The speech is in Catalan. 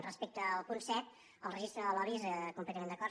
respecte al punt set el registre de lobbys completament d’acord